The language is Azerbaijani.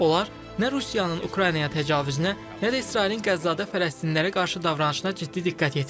Onlar nə Rusiyanın Ukraynaya təcavüzünə, nə də İsrailin Qəzza-Fələstinlərə qarşı davranışına ciddi diqqət yetirirlər.